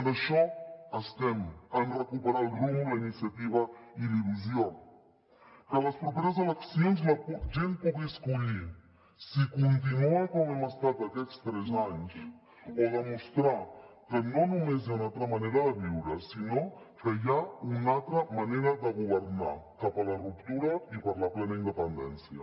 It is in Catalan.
en això estem en recuperar el rumb la iniciativa i la il·lusió que les properes eleccions la gent pugui escollir si continua com hem estat aquests tres anys o demostrar que no només hi ha una altra manera de viure sinó que hi ha una altra manera de governar cap a la ruptura i per la plena independència